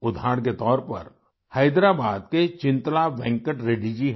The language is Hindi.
उदाहरण के तौर पर हैदराबाद के चिंतला वेंकट रेड्डी जी हैं